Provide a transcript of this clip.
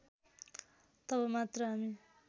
तब मात्र हामी